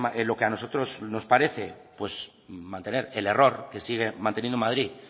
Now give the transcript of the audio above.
en lo que a nosotros nos parece mantener el error que sigue manteniendo madrid